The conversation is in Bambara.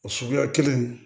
O suguya kelen